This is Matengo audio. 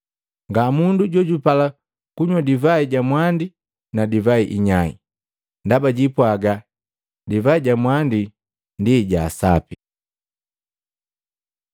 Nga mundu jojupala kunywa divai ja mwandi na divai inyai, ndaba jiipwaga, ‘Divai ja mwandi ndi ja sapi.’ ”